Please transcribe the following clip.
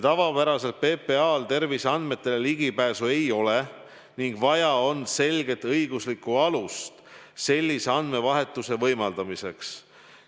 Tavapäraselt PPA-l terviseandmetele ligipääsu ei ole, nüüd on vaja on selget õiguslikku alust sellise andmevahetuse võimaldamiseks.